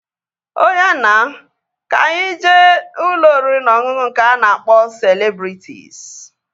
Ọya na, ka anyị jee ụlọ oriri na ọṅụṅụ nke a na-akpọ Celebrịtịs